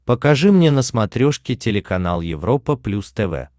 покажи мне на смотрешке телеканал европа плюс тв